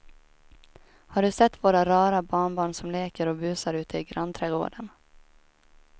Har du sett våra rara barnbarn som leker och busar ute i grannträdgården!